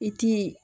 I ti ye